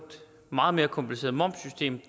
meget mere kompliceret momssystem